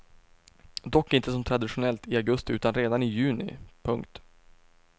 Dock inte som traditionellt i augusti utan redan i juni. punkt